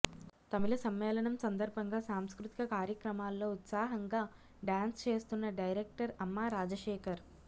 తమిళ సమ్మేళనం సందర్బంగా సాంస్కృతిక కార్యక్రమాల్లో ఉత్సాహాంగా డాన్స్ చేస్తున్న డైరెక్టర్ అమ్మ రాజశేఖర్